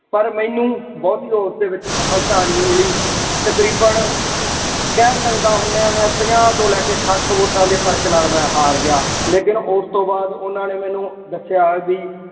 ਪਰ ਮੈਨੂੰ ਬਹੁਤੀ ਉਸਦੇ ਵਿੱਚ ਸਫਲਤਾ ਨਹੀ ਮਿਲੀ। ਤਕਰੀਬਨ ਕਹਿ ਸਕਦਾ ਹੁੰਦਾ ਮੈਂ ਪੰਜਾਹ ਤੋਂ ਲੈ ਕੇ ਸੱਟ ਵੋਟਾਂ ਦੇ ਫਰਕ ਨਾਲ ਮੈਂ ਹਾਰ ਗਿਆ। ਲੇਕਿਨ ਉਸ ਤੋਂ ਬਾਅਦ ਉਹਨਾ ਨੇ ਮੈਨੂੰ ਦੱਸਿਆ ਬਈ